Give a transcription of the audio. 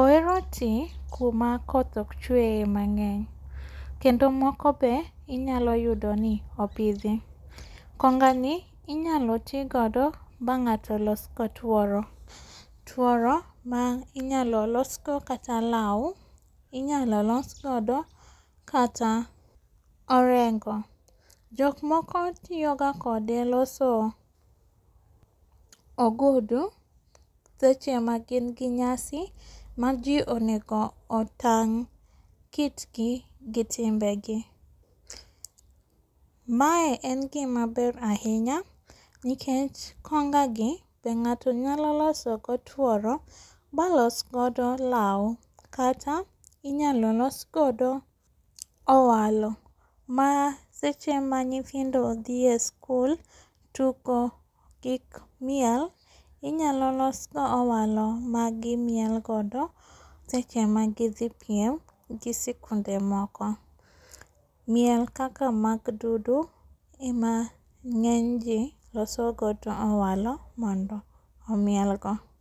Ohero ti kuma koth okchwe mang'eny kendo moko be inyalo yudoni opidhi. Kongani inyalo tii godo bang'ato losgo tuoro. Tuoro mainyalo losgodo kata lau, inyalo losgodo kata orengo. Jokmoko tiyoga kode loso ogudu sechema gin gi nyasi ma jii onego otang' kitgi gi timbegi. Mae en gima ber ahinya, nikech konga gi be ng'ato nyalo loso go tworo balos god lau kata inyalo los godo owalo maseche manyithindo dhie sikul tugo gik miel inyalo losgo owalo magimiel godo seche magidhi piem gi sikunde moko. Miel kaka mag dudu ema ng'eny jii losogodo owalo mondo omielgo.